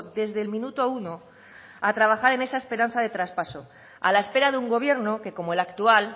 desde el minuto uno a trabajar en esa esperanza de traspaso a la espera de un gobierno que como el actual